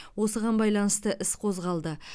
осыған байланысты іс қозғалды